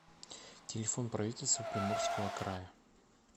телефон правительство приморского края